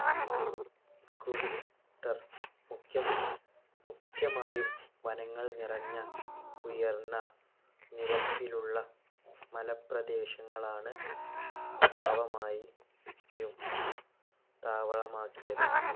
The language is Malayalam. മുഖ്യമ മുഖ്യമായും വനങ്ങൾ നിറഞ്ഞ ഉയര്‍ന്ന നിരത്തിലുള്ള മലപ്രദേശങ്ങളാണ് സ്വഭാവമായി യും താവളമാക്കിയത്.